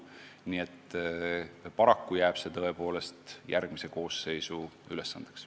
Nii et paraku jääb see tõepoolest järgmise koosseisu ülesandeks.